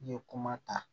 I ye kuma ta